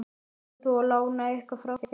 Ætlar þú að lána eitthvað frá þér?